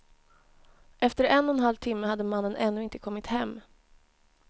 Efter en och en halv timme hade mannen ännu inte kommit hem.